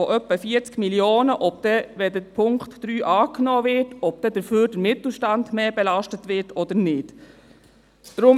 Für mich ist auch nicht klar, ob dann der Mittelstand mehr belastet wird oder nicht, sollte der Punkt 3 angenommen werden.